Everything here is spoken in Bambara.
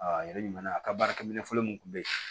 a yɛrɛ ɲuman na a ka baarakɛ minɛn fɔlɔ mun kun be yen